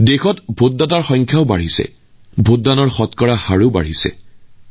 দেশত কেৱল ভোটাৰৰ সংখ্যা বৃদ্ধি হোৱাই নহয় ভোটদানৰ হাৰো বৃদ্ধি পাইছে